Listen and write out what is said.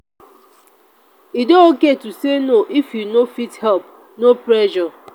e dey okay to say no if you no fit help; no pressure.